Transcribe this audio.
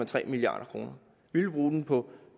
tre milliard kroner vi vil bruge dem på